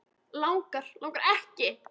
Langar, langar ekki.